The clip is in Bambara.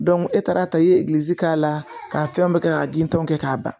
e taara ta i ye k'a la k'a fɛn bɛɛ kɛ k'a gindan tɔw kɛ k'a ban